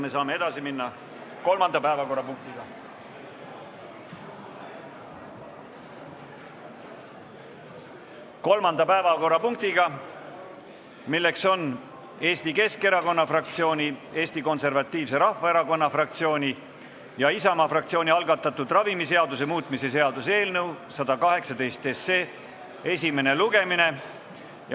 Me saame edasi minna kolmanda päevakorrapunktiga, milleks on Eesti Keskerakonna fraktsiooni, Eesti Konservatiivse Rahvaerakonna fraktsiooni ja Isamaa fraktsiooni algatatud ravimiseaduse muutmise seaduse eelnõu 118 esimene lugemine.